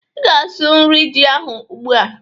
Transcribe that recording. Ị ga-asụ nri ji ahụ ugbụ a!